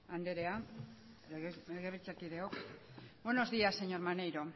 anderea legebiltzarkideok buenos días señor maneiro